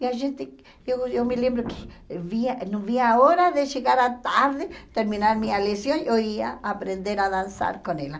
E a gente, eu eu me lembro que via não via a hora de chegar à tarde, terminar minha lição, eu ia aprender a dançar com ela.